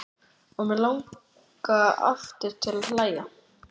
Og mig langar aftur til að hlæja.